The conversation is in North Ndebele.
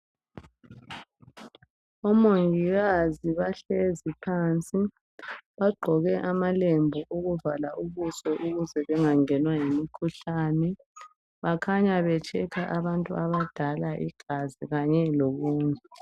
Omongikazi bahlezi phansi. Bagqoke amalembu okuvala ubuso ukuze bengangenwa yimkhuhlane. Bakhanya betshekha abantu abadala igazi kanye lokunye.